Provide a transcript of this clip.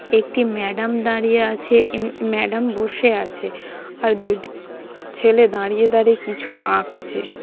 একটি ম্যাডাম দাঁড়িয়ে আছে এ ম্যাডাম বসে আছে | আর দুটি ছেলে দাঁড়িয়ে দাঁড়িয়ে কিছু আঁকছে।